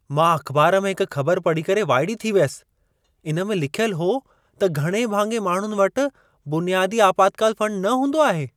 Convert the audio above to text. मां अख़बार में हिकु ख़बरु पढ़ी करे वाइड़ी थी वियसि। इन में लिखियल हो त घणे भाङे माण्हुनि वटि बुनियादी आपातकाल फंड न हूंदो आहे।